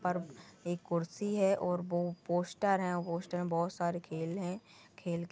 पर एक कुर्सी है और वो पोस्टर है पोस्टर मे बहुत सारे खेल है खेल के पर--